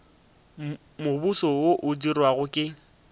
mobose wo o dirwago ke